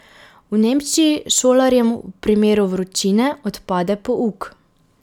V Nemčiji šolarjem v primeru vročine odpade pouk.